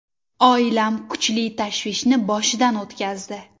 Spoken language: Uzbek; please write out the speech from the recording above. Oilam kuchli tashvishni boshidan o‘tkazdi.